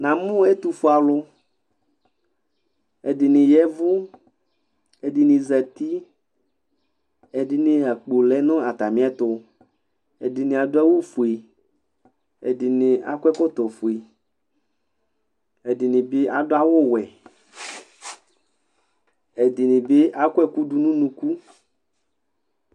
Namʋ ɛtʋfe alʋ ɛdini zati ɛdini ya ɛvʋ ɛdini akpo lɛnʋ atami ɛtʋ ɛdini adʋ awʋfue ɛdini akɔ ɛkɔtɔfue ɛdini bi adʋ awʋwɛ ɛdini bi akɔ ɛkʋ dʋnʋ ʋnʋkʋ